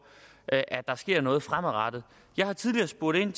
at at der sker noget fremadrettet jeg har tidligere spurgt ind